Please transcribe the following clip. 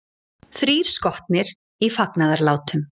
Þrír skotnir í fagnaðarlátum